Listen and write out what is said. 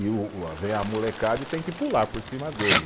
E o eh vem a molecada e tem que pular por cima dele.